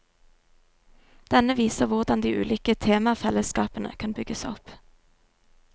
Denne viser hvordan de ulike temafellesskapene kan bygges opp.